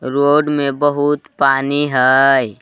Road में बहुत पानी हई।